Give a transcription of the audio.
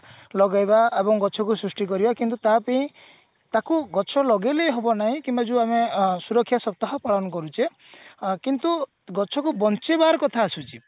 ଲଗେଇବା ଏବଂ ଗଛ କୁ ସୃଷ୍ଟି କରିବା କିନ୍ତୁ ତା ପେଇଁ ତାକୁ ଗଛ ଲଗେଇଲେ ହବ ନାଇଁ କିମ୍ବା ଯୋଉ ଆମେ ସୁରକ୍ଷା ସପ୍ତାହ ପାଳନ କରୁଛେ କିନ୍ତୁ ଗଛ କୁ ବଞ୍ଚେଇବାର କଥା ଆସୁଛି